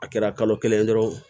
A kɛra kalo kelen ye dɔrɔn